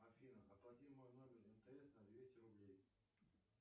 афина оплати мой номер мтс на двести рублей